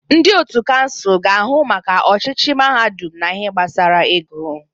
Ndị otu kansụl ga-ahụ maka ọchịchị mahadum na ihe gbasara ego.